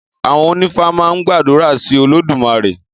Àwon onífá maa n gbàdúrà sí Olódùmarè